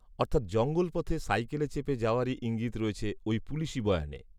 অর্থাৎ জঙ্গলপথে সাইকেলে চেপে যাওয়ারই ঈঙ্গিত রয়েছে, ওই পুলিশি বয়ানে